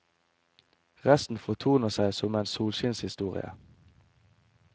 Resten fortoner seg som en solskinnshistorie.